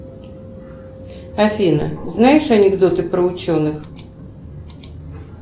афина знаешь анекдоты про ученых